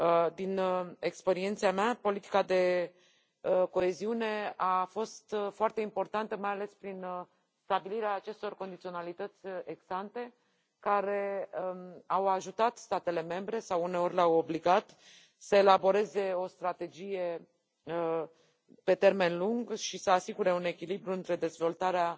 Din experiența mea, politica de coeziune a fost foarte importantă mai ales prin stabilirea acestor condiționalitățile ex ante, care au ajutat statele membre sau uneori le au obligat să elaboreze o strategie pe termen lung și să asigure un echilibru între dezvoltarea